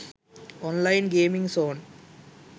online gaming zone